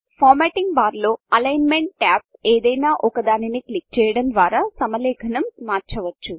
formatting bar లో alignment tab ఏదైనా ఒక దానిని క్లిక్ చేయడం ద్వారా సమలేఖనం మార్చవచ్చు